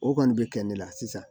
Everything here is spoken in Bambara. O kɔni bɛ kɛ ne la sisan